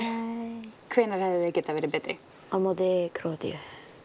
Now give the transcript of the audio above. hvenær hefðu þeir getað verið betri á móti Króatíu